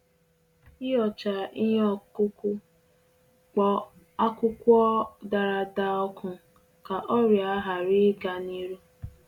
Ihocha ihe okuku, kpo akwụkwọ dara-ada oku ka ọrịa hari-ịga ni iru